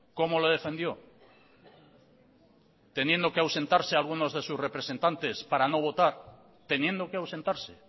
cómo lo defendió teniendo que ausentarse alguno de sus representantes para no votar teniendo que ausentarse